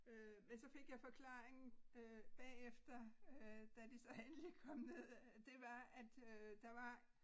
Øh men så fik jeg forklaringen øh bagefter øh da de så endelig kom ned det var at øh der var